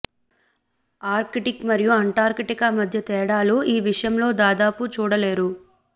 Arctic మరియు Antarctica మధ్య తేడాలు ఈ విషయంలో దాదాపు చూడలేరు